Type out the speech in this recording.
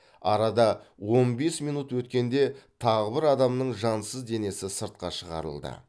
арада он бес минут өткенде тағы бір адамның жансыз денесі сыртқа шығарылды